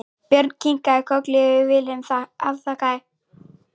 Björn kinkaði kolli en Vilhelm afþakkaði.